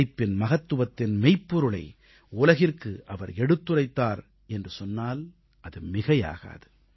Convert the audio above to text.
உழைப்பின் மகத்துவத்தின் மெய்ப்பொருளை உலகிற்கு அவர் எடுத்துரைத்தார் என்று சொன்னால் மிகையாகாது